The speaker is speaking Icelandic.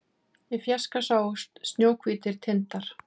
Í fjarska sáust snjóhvítir tindar